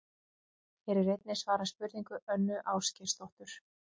Hér er einnig svarað spurningu Önnu Ásgeirsdóttur: